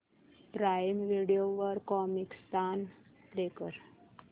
prime Video वर Comicstan play कर